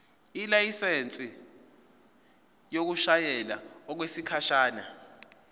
ilayisensi yokushayela okwesikhashana